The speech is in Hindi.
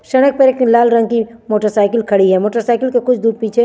सडक पे एक लाल रंग कि एक मोटर साइकिल खड़ी है मोटर साइकिल कुछ दूर पीछे --